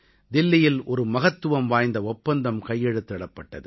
தில்லியில் ஒரு மகத்துவம் வாய்ந்த ஒப்பந்தம் கையெழுத்திடப்பட்டது